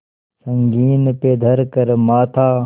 संगीन पे धर कर माथा